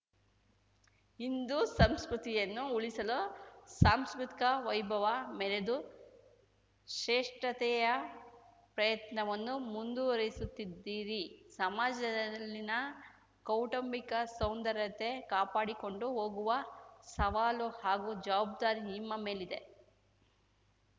ಹಿಂದೂ ಸಂಸ್ಕೃತಿಯನ್ನು ಉಳಿಸಲು ಸಾಂಸ್ಕೃತಿಕ ವೈಭವ ಮೆರೆದು ಶ್ರೇಷ್ಠತೆಯ ಪ್ರಯತ್ನವನ್ನು ಮುಂದುವರೆಸುತ್ತಿದ್ದೀರಿ ಸಮಾಜದಲ್ಲಿನ ಕೌಟುಂಬಿಕ ಸೌಂದರ್ಯತೆ ಕಾಪಾಡಿಕೊಂಡು ಹೋಗುವ ಸವಾಲು ಹಾಗೂ ಜವಬ್ದಾರಿ ನಿಮ್ಮ ಮೇಲಿದೆ